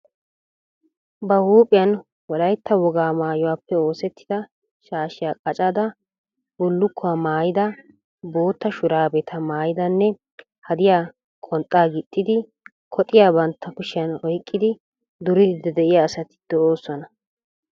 Ba huuphphiyan wolaytta wogaa maayuppe osettida shaashshiya qacada, bulukkuwa maayyida, bootta shuraabeta maayidanne hadiya qonxxaa gixxidi koxxiya bantta kushshiyan oyqqidi duriidi de'iya asata doosona.